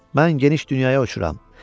Mən geniş dünyaya uçuram.